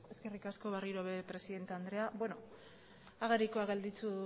eskerrik asko berriro ere presidente andrea agerikoak gelditu